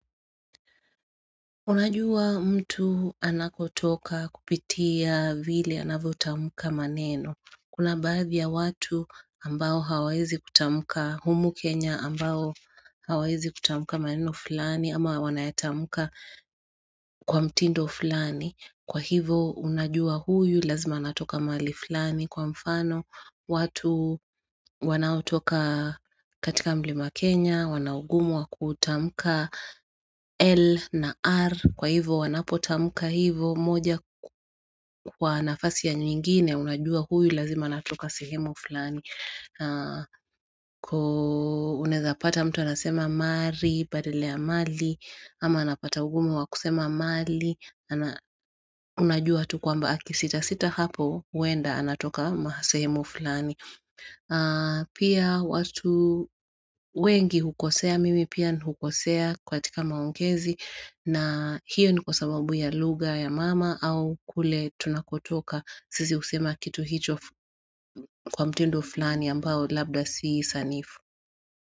Unajua mtu anakotoka kupitia vile anavutamuka maneno. Kuna baadhi ya watu ambao hawaezi kutamuka humu Kenya ambao hawaezi kutamuka maneno fulani ama wanayatamuka kwa mtindo fulani. Kwa hivo unajua huyu lazima anatoka mahali fulani. Kwa mfano, watu wanautoka katika mlima Kenya, wanaugumu wa kutamuka L na R Kwa hivo wanapotamuka hivo moja kwa nafasi ya nyingine Unajua huyu lazima anatoka sehemu fulani Uneza pata mtu anasema mari, badala ya mali ama anapata ugumu wa kusema mali Unajua tu kwamba akisitasita hapo Wenda anatoka sehemu fulani Pia watu wengi hukosea mimi pia hukosea kwa katika maongezi na hiyo ni kwa sababu ya lugha ya mama au kule tunakotoka Sisi usema kitu hicho kwa mtindo fulani ambao labda si sanifu.